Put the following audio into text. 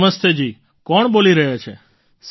નમસ્તે જી કોણ બોલી રહ્યા છે